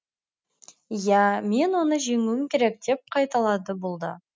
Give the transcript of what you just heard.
иә мен оны жеңуім керек деп қайталады бұл да